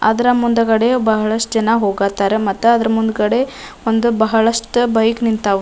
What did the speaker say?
ಅದರ ಮುಂದುಗಡೆ ಬಹಳಷ್ಟು ಜನ ಹೋಗ ಹತ್ತರ ಮತ್ತ ಅದ್ರ ಮುಂದ್ಗಡೆ ಒಂದ ಬಹಳಷ್ಟು ಬೈಕ್ ನಿಂತವು.